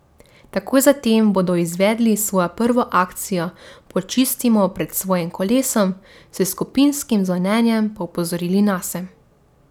Takoj zatem bodo izvedli svojo prvo akcijo Počistimo pred svojim kolesom, s skupinskim zvonjenjem pa opozorili nase.